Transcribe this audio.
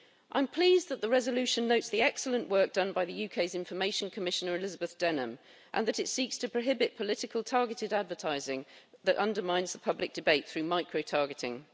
I'm pleased that the resolution notes the excellent work done by the UK's information commissioner, Elizabeth Denham, and that it seeks to prohibit political targeted advertising that undermines the public debate through microtargeting.